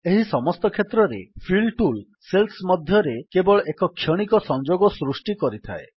ଏହି ସମସ୍ତ କ୍ଷେତ୍ରରେ ଫିଲ୍ ଟୁଲ୍ ସେଲ୍ସ ମଧ୍ୟରେ କେବଳ ଏକ କ୍ଷଣିକ ସଂଯୋଗ ସୃଷ୍ଟି କରିଥାଏ